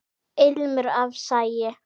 Ilmur af sagi.